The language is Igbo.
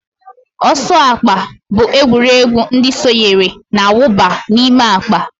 Ọsọ akpa bụ egwuregwu ndị sonyere na-awụba n'ime akpa